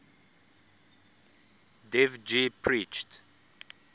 dev ji preached